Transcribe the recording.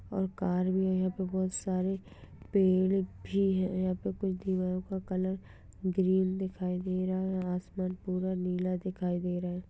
और कार भी है यहाँ पर बहोत सारे पेड़ भी हैं। यहाँ पे कुछ दिवालो का कलर ग्रीन दिखाई दे रहा है। आसमान पूरा नीला दिखाई दे रहा --